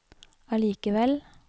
allikevel